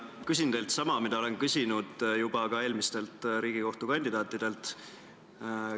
Küsin teilt sama, mida olen küsinud ka eelmistelt Riigikohtu liikme kandidaatidelt.